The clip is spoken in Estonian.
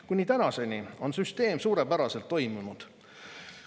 Kuni tänaseni on süsteem suurepäraselt toiminud.